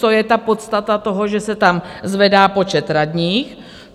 Co je ta podstata toho, že se tam zvedá počet radních?